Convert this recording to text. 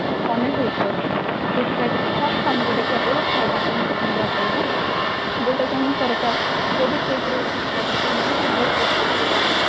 connect ହେଇକି ଅଛି ସେଇଥି ପାଇଁ first ଆମକୁ ଦେଖିବାକୁ ପଡିବ ଖାଇବାକୁ important ଦବାକୁ ପଡିବ ଯୋଉଟା କି ଆମ ସରକାର ଯଦି ସେଉପରେ ଯଦି କିଛି ପଦକ୍ଷେପ ନେଲେ ତାହାଲେ ବହୁତ useful ହେଇପାରନ୍ତା